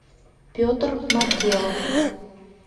петр маркелов